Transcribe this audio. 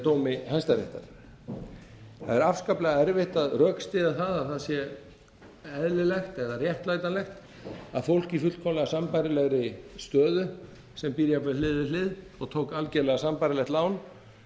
dómi hæstaréttar það er afskaplega erfitt að rökstyðja það að það sé eðlilegt eða réttlætanlegt að fólk í fullkomlega sambærilegri stöðu sem býr jafnvel hlið við hlið og tók algjörlega sambærilegt lán